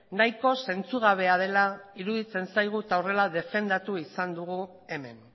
nahiko zentzugabea dela iruditzen zaigu eta horrela defendatu izan dugu hemen